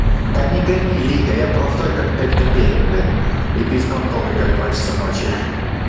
да не гони лига я простой как пять копеек блять и беспонтовый как два часа ночи ха